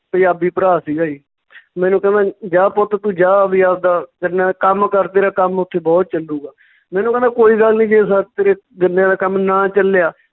ਪੰਜਾਬੀ ਭਰਾ ਸੀਗਾ ਜੀ ਮੈਨੂੰ ਕਹਿੰਦਾ ਜੀ ਜਾ ਪੁੱਤ ਤੂੰ ਜਾ ਵੀ ਆਵਦਾ ਗੰਨਾ ਕੰਮ ਕਰ ਤੇਰਾ ਕੰਮ ਉੱਥੇ ਬਹੁਤ ਚੱਲੂਗਾ ਮੈਨੂੰ ਕਹਿੰਦਾ ਕੋਈ ਗੱਲ ਨੀਂ ਜੇ ਤੇਰੇ ਗੰਨਿਆਂ ਦਾ ਕੰਮ ਨਾ ਚੱਲਿਆ